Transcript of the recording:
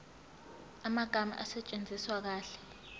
amagama asetshenziswe kahle